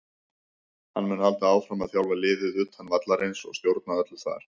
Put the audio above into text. Hann mun halda áfram að þjálfa liðið utan vallarins og stjórna öllu þar.